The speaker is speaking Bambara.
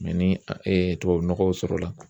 ni tubabunɔgɔw sɔrɔ la